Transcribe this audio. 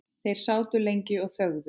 Þeir sátu lengi og þögðu.